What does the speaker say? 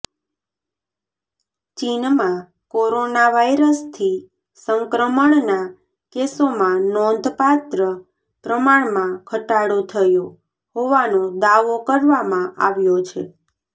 ચીનમાં કોરોના વાઈરસથી સંક્રમણના કેસોમાં નોંધપાત્ર પ્રમાણમાં ઘટાડો થયો હોવાનો દાવો કરવામાં આવ્યો છે